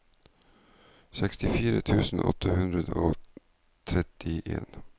sekstifire tusen åtte hundre og trettien